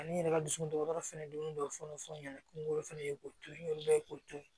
Ani n yɛrɛ ka dusukun dɔgɔtɔrɔ fana dumuni dɔ fana ye k'o to ye n'o ye k'o to ye